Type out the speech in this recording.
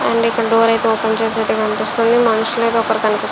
Only ఇక్కడ door అయితే open చేస్తున్నట్టుగా కనిపిస్తుంది. మనుషులైతే ]